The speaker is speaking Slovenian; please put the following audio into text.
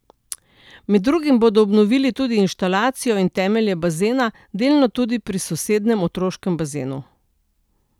Med drugim bodo obnovili tudi inštalacijo in temelje bazena, delno tudi pri sosednjem otroškem bazenu.